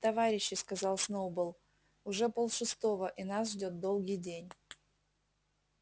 товарищи сказал сноуболл уже полшестого и нас ждёт долгий день